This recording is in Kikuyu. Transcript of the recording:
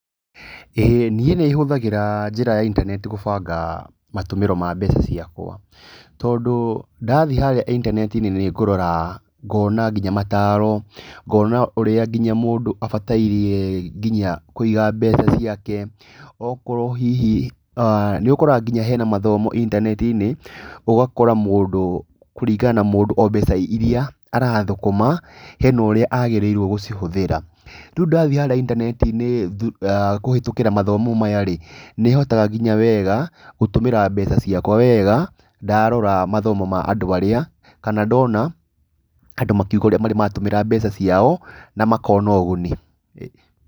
Ĩĩ niĩ nĩ hũthagĩra njĩra ya intaneti gũbanga matũmĩro ma mbeca ciakwa tondũ ndathiĩ harĩa intaneti-inĩ nĩ ngũrora ngona nginya mataaro, ngona ũrĩa nginya mũndũ abataire nginya kũiga mbeca ciake, okorwo hihi [uh]nĩ ũkoraga nginya hena mathomo intaneti-inĩ, ũgakora mũndũ, kũringana na mũndũ o mbeca iria arathũkũma, hena ũrĩa agĩrĩirwo gũcihũthĩra. Rĩu ndathiĩ harĩa intaneti-inĩ kũhĩtũkĩra mathomo-inĩ maya rĩ, nĩ hotaga nginya wega gũtũmĩra mbeca ciakwa wega ndarora mathomo ma andũ arĩa, kana ndona andũ makiuga ũrĩa marĩ matũmĩra mbeca ciao na makona ũguni.